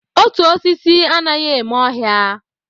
Otu osisi anaghị eme ọhịa